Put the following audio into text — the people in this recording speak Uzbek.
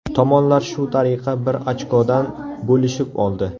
Tomonlar shu tariqa bir ochkodan bo‘lishib oldi.